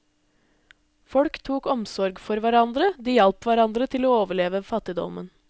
Folk tok omsorg for hverandre, de hjalp hverandre til å overleve fattigdommen.